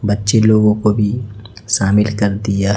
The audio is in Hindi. बच्चे लोगों को भी शामिल कर दिया।